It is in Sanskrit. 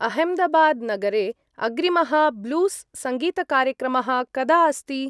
अह्मेदाबाद्-नगरे अग्रिमः ब्लूस्‌-सङ्गीतकार्यक्रमः कदा अस्ति?